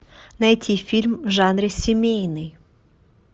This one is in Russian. найти фильм в жанре семейный